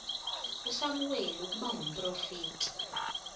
usamuweli ukuba ngumprofeti